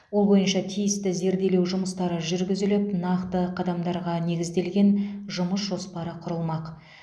ол бойынша тиісті зерделеу жүмыстары жүргізіліп нақты қадамдарға негізделген жұмыс жоспары құрылмақ